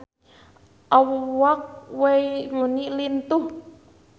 Awak Wayne Rooney lintuh